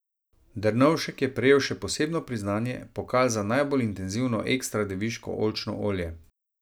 Drnovšček je prejel še posebno priznanje, pokal za najbolj intenzivno ekstra deviško oljčno olje.